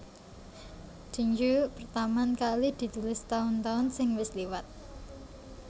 Dengue pertaman kali ditulis taun taun sing wis lewat